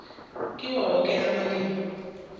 kiwo woke amalimi